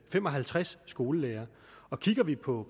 fem og halvtreds skolelærere og kigger vi på